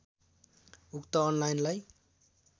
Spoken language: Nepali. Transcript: उक्त अनलाइनलाई